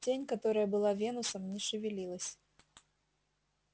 тень которая была венусом не шевелилась